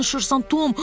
Nə danışırsan, Tom?